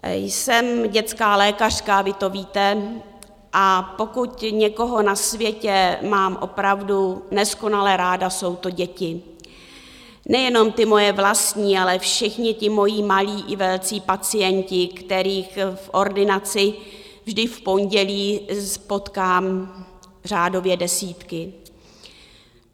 Jsem dětská lékařka, vy to víte, a pokud někoho na světě mám opravdu neskonale ráda, jsou to děti, nejenom ty moje vlastní, ale všichni ti moji malí i velcí pacienti, kterých v ordinaci vždy v pondělí potkám řádově desítky.